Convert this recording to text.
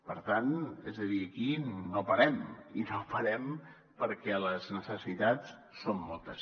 per tant és a dir aquí no parem i no parem perquè les necessitats són moltes